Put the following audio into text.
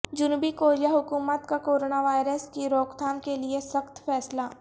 جنوبی کوریا حکومت کا کوروناوائرس کی روک تھام کیلئے سخت فیصلہ